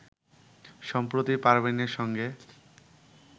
সম্প্রতি পারভিনের সঙ্গে